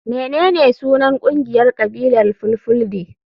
Menene sunan kungiyar kabilar fulfulde?